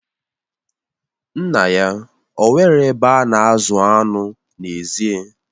Nna ya o nwere ebe a na-azụ anụ n'ezie?